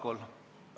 Palun!